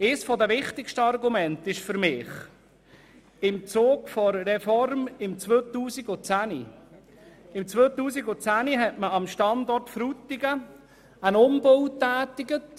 Für mich eines der wichtigsten Argumente: Im Zug der Reform im Jahr 2010 hat man am Standort Frutigen einen Umbau für 2,53 Mio. Franken getätigt.